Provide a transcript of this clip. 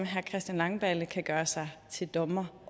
christian langballe kan gøre sig til dommer